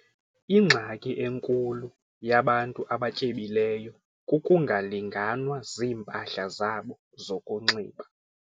Ingxaki enkulu yabantu abatyebileyo kukungalinganwa ziimpahla zabo zokunxiba.